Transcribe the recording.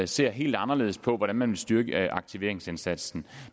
ser helt anderledes på hvordan man vil styrke aktiveringsindsatsen